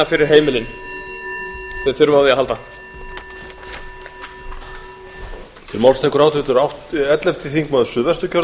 koma með okkur og vinna fyrir heimilin sem þurfa á því að halda